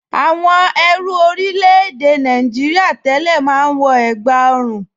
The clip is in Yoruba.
Àwọn ẹrú orílẹ̀-èdè Nàìjìrìà tẹ́lẹ̀ máa ń wọ ègbá ọrùn